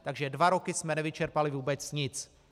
Takže dva roky jsme nevyčerpali vůbec nic.